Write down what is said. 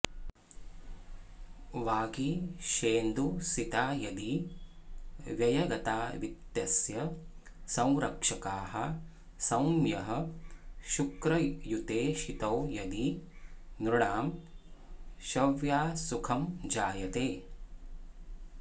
वागीशेन्दुसिता यदि व्ययगता वित्तस्य संरक्षकाः सौम्यः शुक्रयुतेक्षितो यदि नृणां शव्यासुखं जायते